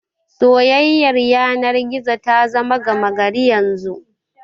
Soyayyar yanar gizo ta zama gama gari yanzu.